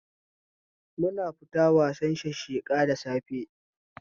Muna fita wasan shasheka da safe